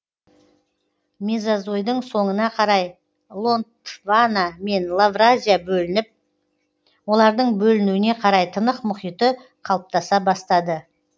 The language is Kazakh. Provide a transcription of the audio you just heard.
мезозойдың соңына қарай гондвана мен лавразия бөлініп олардың бөлінуіне қарай тынық мұхиты қалыптаса бастады